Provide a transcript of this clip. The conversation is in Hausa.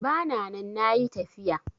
Bana nan nayi tafiya